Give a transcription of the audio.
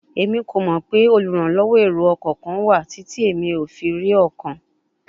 Emi ko mọ pe oluranlọwọ ero-ọkọ kan wa titi emi o fi ri ọkan